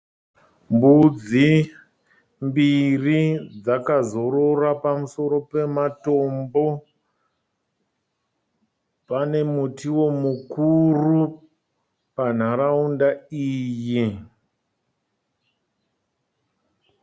Mbudzi mbiri dzakazorora pamusoro pematombo. Pane mutiwo mukuru panharaunda iyi.